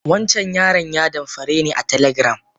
Wancan yaran ya damfare ni a telegram.